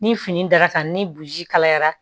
Ni fini dara ka ni burusi kalayara